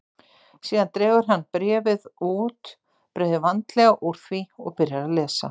Síðan dregur hann bréfið út, breiðir vandlega úr því og byrjar að lesa.